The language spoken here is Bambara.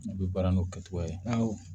A bɛ baara n'o kɛcogoya ye